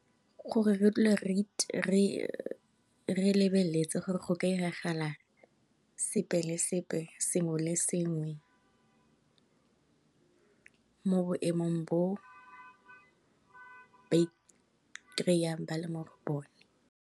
Gore re dule re lebeletse gore go ka iragala sepe le sepe, sengwe le sengwe, mo boemong bo ba ikreiyang ba le mo go bone.